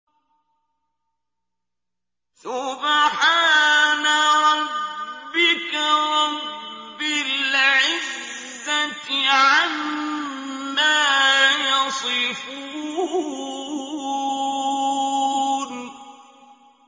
سُبْحَانَ رَبِّكَ رَبِّ الْعِزَّةِ عَمَّا يَصِفُونَ